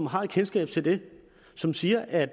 har kendskab til det som siger at